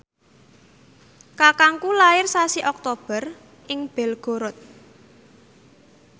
kakangku lair sasi Oktober ing Belgorod